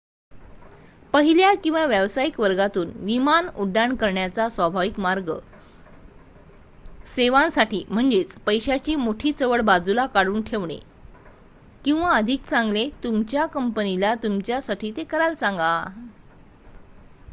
पहिल्या किंवा व्यावसायिक वर्गातून विमान उड्डाण करण्याचा स्वाभाविक मार्ग सेवांसाठी म्हणजे पैशाची मोठी चवड बाजूला काढून ठेवणे किंवा अधिक चांगले तुमच्या कंपनीला तुमच्यासाठी ते करायला सांगा